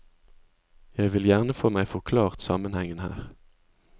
Jeg vil gjerne få meg forklart sammenhengen her.